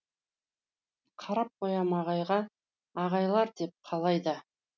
қарап қоям ағайға айғайлар деп қалай да